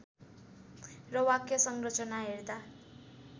र वाक्य संरचना हेर्दा